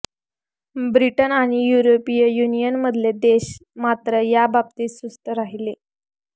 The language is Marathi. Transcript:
ब्रिटन आणि युरोपीय युनियनमधले देश मात्र याबाबतीत सुस्त राहिले